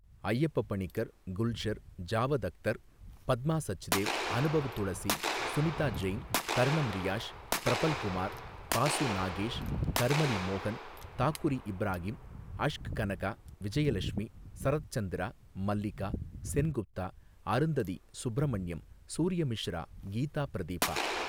அய்யப்ப பணிக்கர் குல்ஷர் ஜாவத் அக்தர் பத்மா சச்தேவ் அனுபவ்துளசி சுனிதா ஜெயின் தர்ணம் ரியாஷ் ப்ரபல்குமார் பாசு நாகேஷ் கர்மலி மோகன் தாக்குரி இப்ராகிம் அஷ்க் கனகா விஜயலஷ்மி சரத் சந்திரா மல்லிகா சென்குப்தா அருந்ததி சுப்ரமண்யம் சூர்யமிஷ்ரா கீதா பிரதிபா.